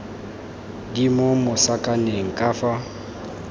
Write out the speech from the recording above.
di mo masakaneng ka fa